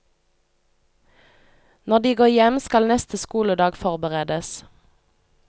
Når de går hjem, skal neste skoledag forberedes.